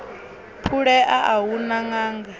phulea a hu na ṅanga